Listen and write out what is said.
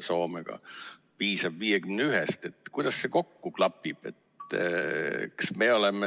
Soomega ühendatud, piisab 51 häälest, siis kuidas see kokku klapib?